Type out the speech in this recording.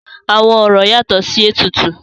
Àwọn orò yatọ̀ sí ètùtù.